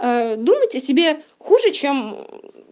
а думать о себе хуже чем